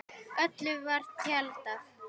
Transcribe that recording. Öllu var tjaldað til.